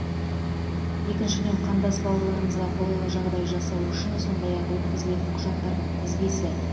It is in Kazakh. екіншіден қандас бауырларымызға қолайлы жағдай жасау үшін сондай ақ өткізілетін құжаттардың тізбесі